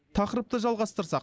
тақырыпты жалғастырсақ